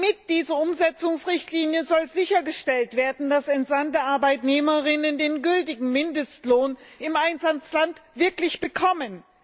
Mit dieser Umsetzungsrichtlinie soll sichergestellt werden, dass entsandte Arbeitnehmerinnen und Arbeitnehmer den gültigen Mindestlohn im Einsatzland wirklich bekommen.